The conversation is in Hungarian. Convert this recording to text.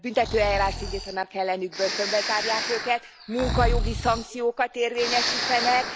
Büntetőeljárást indítanak ellenük, börtönbe zárják őket, munkajogi szankciókat érvényesítenek,